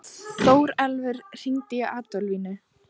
Þórelfur, hringdu í Adolfínu.